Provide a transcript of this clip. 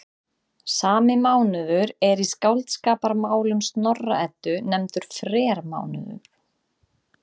Sami mánuður er í Skáldskaparmálum Snorra-Eddu nefndur frermánuður.